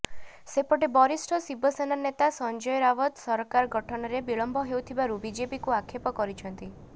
ସେପଟେ ବରିଷ୍ଠ ଶିବସେନା ନେତା ସଞ୍ଜୟ ରାବତ ସରକାର ଗଠନରେ ବିଳମ୍ବ ହେଉଥିବାରୁ ବିଜେପିକୁ ଆକ୍ଷେପ କରିଛନ୍ତି